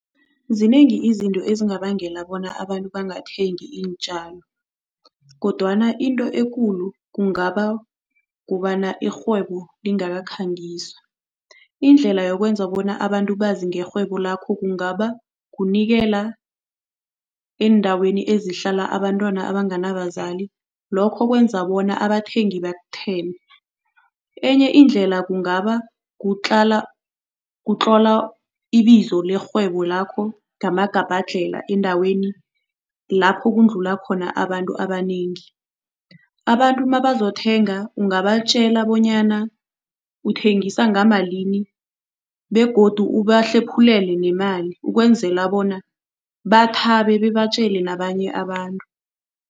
Zinengi izinto ezingabangela bona abantu bangathengi iintjalo kodwana into ekulu kungaba kobana irhwebo lingakakhangiswa. Indlela yokwenza bona abantu bazi ngerhwebo lakho kungaba kunikela endaweni ezihlala abantwana abanganabazali, lokho kwenza bona abathengi bakuthembe. Enye indlela kungaba kutlola ibizo lerhwebo lakho ngamagabhadlhela endaweni lapho kundlula khona abantu abanengi. Abantu mabazothenga ungabatjela bonyana uthengisa ngamalini begodu ubahlephulele nemali, ukwenzela bona bathabe bebabatjele nabanye abantu.